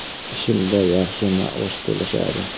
Ishimda yaxshi maosh to‘lashadi.